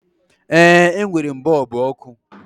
Ee, e nwèrè m bọọlbụ ọkụ